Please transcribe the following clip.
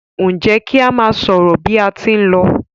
Njé ki a má sọrọ bi a tí n ló?